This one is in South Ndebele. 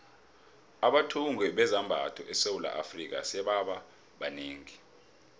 abathungi bezambatho esewula afrika sebaba banengi